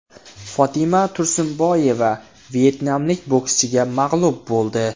Fotima Tursunboyeva vyetnamlik bokschiga mag‘lub bo‘ldi.